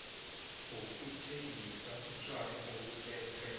yokuthengisa utjwala obulethwe